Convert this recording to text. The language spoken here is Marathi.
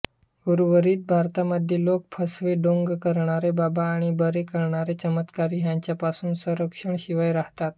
उर्वरित भारतामध्ये लोक फसवे ढोंग करणारे बाबा आणि बरे करणारे चमत्कारी याच्यापासुन संरक्षणाशिवाय राहतात